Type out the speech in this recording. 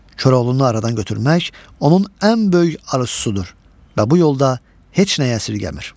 Koroğlunu aradan götürmək onun ən böyük arzusudur və bu yolda heç nəyi əsirgəmir.